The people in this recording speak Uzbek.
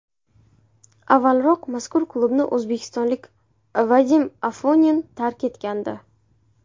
Avvalroq mazkur klubni o‘zbekistonlik Vadim Afonin tark etgandi.